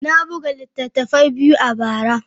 Na buga littattafai biyu a bara.